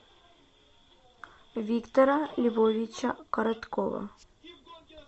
виктора львовича короткова